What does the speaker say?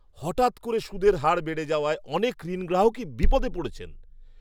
হঠাৎ করে সুদের হার বেড়ে যাওয়ায় অনেক ঋণগ্রাহকই বিপদে পড়েছেন।